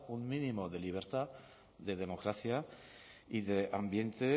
un mínimo de libertad de democracia y de ambiente